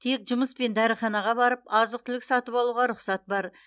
тек жұмыс пен дәріханаға барып азық түлік сатып алуға рұқсат бар